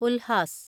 Ulhas